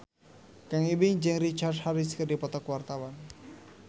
Kang Ibing jeung Richard Harris keur dipoto ku wartawan